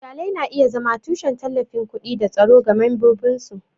Iyalai na iya zama tushen tallafin kuɗi da tsaro ga membobinsu.